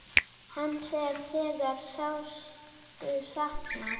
Hans er þegar sárt saknað.